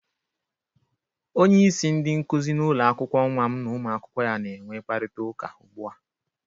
Onyeisi ndị nkụzị n'ụlọakwụkwọ nwa m na ụmụakwụkwọ ya na-enwe kparịta ụka ụgbu a.